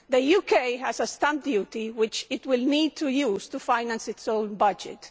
The UK has a stamp duty which it will need to use to finance its own budget.